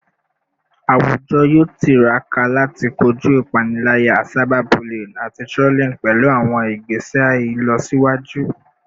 Awujọ yoo tiraka lati koju ipanilaya, cyberbullying, ati trolling pẹlu awọn igbese ilọsiwaju